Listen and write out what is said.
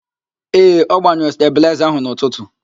Ee, ọ gbanyụrụ stabịlaịza ahụ n'ụtụtu.